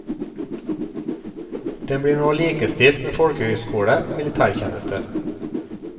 Den blir nå likestilt med folkehøyskole og militærtjeneste.